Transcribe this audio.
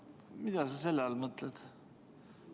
Mida sa selle all mõtled?